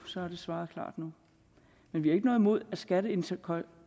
så er der svaret klart nu men vi har ikke noget imod at skatteindtægterne